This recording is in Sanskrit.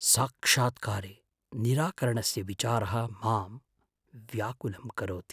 साक्षात्कारे निराकरणस्य विचारः मां व्याकुलं करोति।